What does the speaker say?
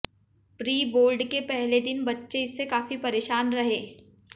pre board के पहले दिन बच्चे इससे काफी परेशान रहे